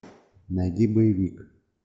найди боевик